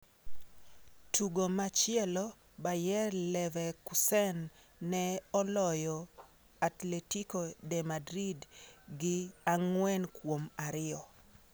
Tugo machielo Bayer Leverkusen ne oloyo Atletico de Madrid gi ang'wen kuom ariyo.